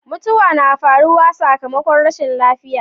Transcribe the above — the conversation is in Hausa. mutuwa na faruwa sakammakon rashin lafiya